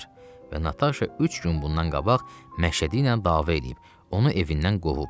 Və Nataşa üç gün bundan qabaq Məşədi ilə dava eləyib, onu evindən qovub.